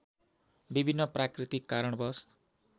विभिन्न प्राकृतिक कारणवश